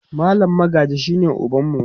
mallam Magaji shine ubanmu